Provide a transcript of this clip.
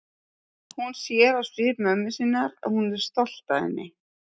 Hún sér á svip mömmu sinnar að hún er stolt af henni.